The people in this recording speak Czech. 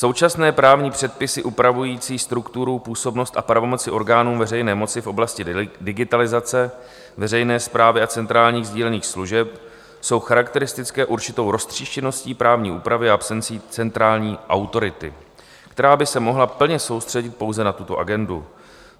Současné právní předpisy upravující strukturu, působnost a pravomoci orgánům veřejné moci v oblasti digitalizace veřejné správy a centrálních sdílených služeb jsou charakteristické určitou roztříštěností právní úpravy a absencí centrální autority, která by se mohla plně soustředit pouze na tuto agendu.